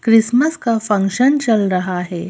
Christmas का function चल रहा है।